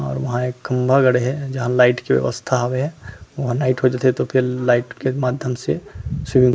और वहाँ खंभा गड़े हे जहाँ लाइट कए व्यवस्था हवय वहाँ लाइट हो जाथे जेकर माध्यम से--